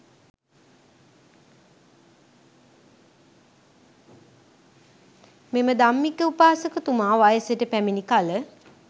මෙම ධම්මික උපාසකතුමා වයසට පැමිණි කල